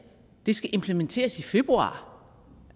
skal implementeres i februar